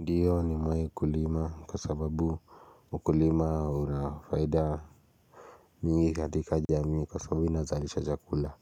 Ndiyo nimewai kulima kwa sababu ukulima una faida mingi katika jamii kwa sababu ina zaalisha chakula